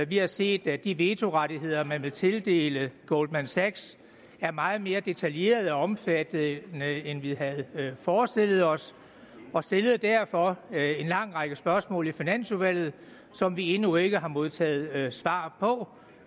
vi har set at de vetorettigheder man vil tildele goldman sachs er meget mere detaljerede og omfattende end vi havde forestillet os og stillede derfor lang række spørgsmål i finansudvalget som vi endnu ikke har modtaget svar på